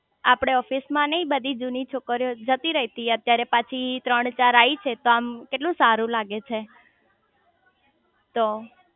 આપડે ઓફિસે માં નઈ બધી જૂની છોકરીયો જતી રઇ તી અત્યારે પાછી ત્રણ ચાર આઈ છે તો આમ કેટલું સારું લાગે છે તો